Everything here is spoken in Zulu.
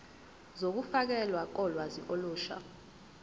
zokufakelwa kolwazi olusha